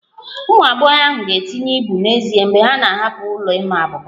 Ụmụ agbọghọ ahụ ga-etinye ibu n'ezie mgbe ha na-ahapụ ụlọ ịma abuba